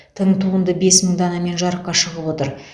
тың туынды бес мың данамен жарыққа шығып отыр